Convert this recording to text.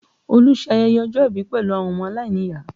Olu ṣe ayẹyẹ ọjọ́ ìbí pẹ̀lú àwọn ọmọ aláìníyàá